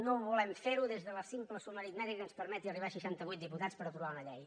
no ho volem fer des de la simple suma aritmètica que ens permeti arribar a seixantavuit diputats per aprovar una llei